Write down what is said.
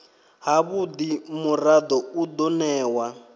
havhudi murado u do newa